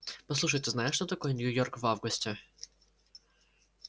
послушай ты знаешь что такое нью-йорк в августе